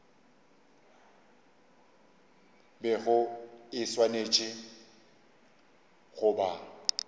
bego e swanetše go ba